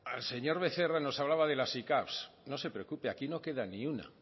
al señor becerra nos hablaba de las sicav no se preocupe aquí no queda ni una